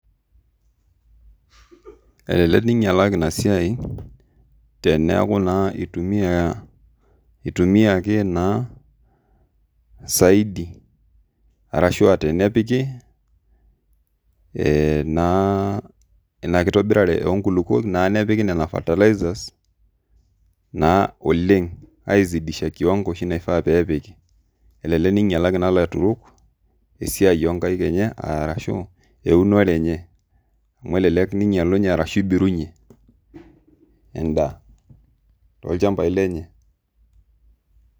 Naingialaki Ina siai, teneeku naa itumiaki naa saidi, arashu aa tenepiki naa Ina kitobirare oo nkulupuok, nepiki Ina fertilizer naa oleng aisidiashaki oleng kiwango oshi naifaa peepiki, elelek naingialaki naa ilaturok esiai oo nkaik enye, ashu eunore enye, amu elelek ibirunye edaa toolchampai lenye.